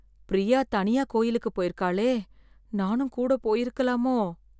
பிரியா தனியா கோவிலுக்கு போயிருக்காளே, நானும் கூட போயிருக்கலாமோ?